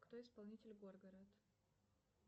кто исполнитель горгород